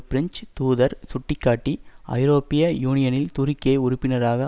பிரஞ்சுத் தூதர் சுட்டி காட்டி ஐரோப்பிய யூனியனில் துருக்கியை உறுப்பினராக